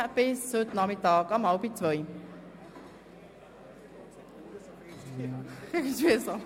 Ich wünsche Ihnen einen guten Appetit und verabschiede Sie bis heute Nachmittag um 13.30 Uhr.